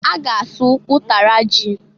A ga asụ ụtara ji.